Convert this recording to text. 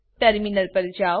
terminal પર જાઓ